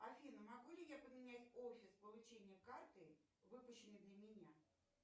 афина могу ли я поменять офис получения карты выпущенной для меня